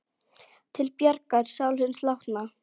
Til bjargar sál hins látna.